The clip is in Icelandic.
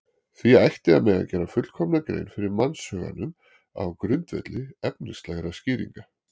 Því ætti að mega gera fullkomna grein fyrir mannshuganum á grundvelli efnislegra skýringa.